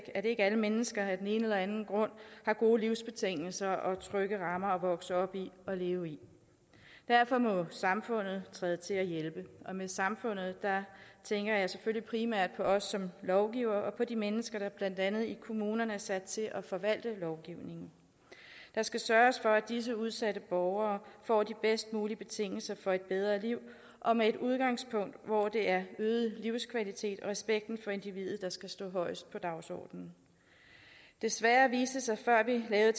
at ikke alle mennesker af den ene eller den anden grund har gode livsbetingelser og trygge rammer at vokse op i og leve i derfor må samfundet træde til og hjælpe og med samfundet tænker jeg selvfølgelig primært på os som lovgivere og på de mennesker der blandt andet i kommunerne er sat til at forvalte lovgivningen der skal sørges for at disse udsatte borgere får de bedst mulige betingelser for et bedre liv og med et udgangspunkt hvor det er øget livskvalitet og respekt for individet der skal stå højest på dagsordenen desværre viste det sig før vi lavede